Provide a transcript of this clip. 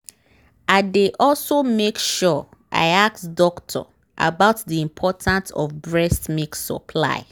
i dey also make sure i ask doctor about the important of breast milk supply